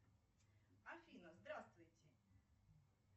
афина здравствуйте